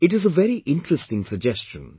It is a very interesting suggestion